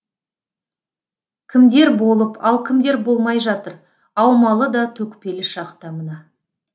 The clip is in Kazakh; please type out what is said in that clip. кімдер болып ал кімдер болмай жатыр аумалы да төкпелі шақта мына